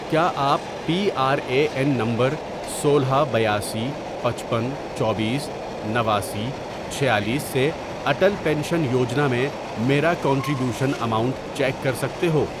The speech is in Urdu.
کیا آپ P R A N number سولہ، بیاسی، پچپن، چوبیس، نواسی، چھیالیس، سے اٹل پینشن یوجنا میں میرا کنٹری بیوشن اماؤنٹ چیک کر سکتے ہو؟